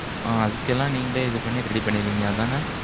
அ, அதுக்கெல்லாம் நீங்களே, இது பண்ணி, ready பண்ணிடுவீங்க. அதானே?